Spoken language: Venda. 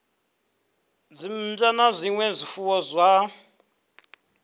dzimmbwa na zwinwe zwifuwo zwa